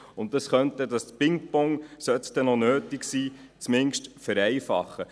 Dies könnte das Pingpong, falls es noch nötig sein sollte, zumindest vereinfachen.